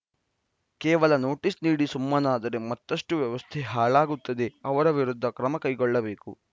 ಕೇವಲ ನೋಟಿಸ್‌ ನೀಡಿ ಸುಮ್ಮನಾದರೆ ಮತ್ತಷ್ಟು ವ್ಯವಸ್ಥೆ ಹಾಳಾಗುತ್ತದೆ ಅವರ ವಿರುದ್ಧ ಕ್ರಮ ಕೈಗೊಳ್ಳಬೇಕು